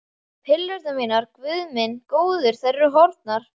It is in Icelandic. Pillurnar mínar, Guð minn góður, þær eru horfnar!